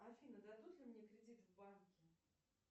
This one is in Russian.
афина дадут ли мне кредит в банке